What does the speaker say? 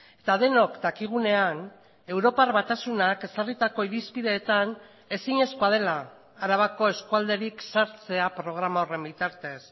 eta denok dakigunean europar batasunak ezarritako irizpideetan ezinezkoa dela arabako eskualderik sartzea programa horren bitartez